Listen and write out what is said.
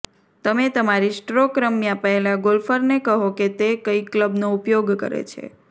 તમે તમારી સ્ટ્રોક રમ્યા પહેલાં ગોલ્ફરને કહો કે તે કઈ ક્લબનો ઉપયોગ કરે છે